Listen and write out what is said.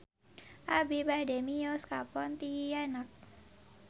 Abi bade mios ka Pontianak